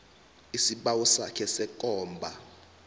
isibawo sakho sekomba